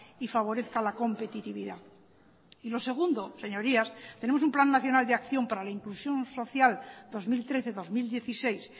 y favorezca la competitividad y lo segundo señorías tenemos un plan nacional de acción para la inclusión social dos mil trece dos mil dieciséis